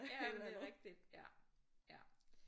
Ja ja men det er rigtigt ja ja